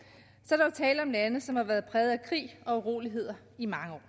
er der jo tale om lande som har været præget af krig og uroligheder i mange år